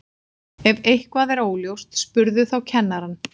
Ef eitthvað er óljóst spurðu þá kennarann.